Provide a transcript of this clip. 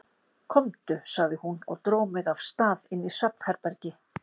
Komdu, sagði hún og dró mig af stað inn í svefnherbergi.